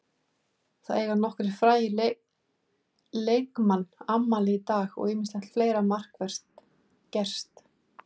Það eiga nokkrir frægir leikmann afmæli í dag og ýmislegt fleira markvert gerst.